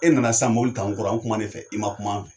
E nana sisan mobili ta an kɔrɔ , an kuma n'e fɛ, i ma kuma fɛ.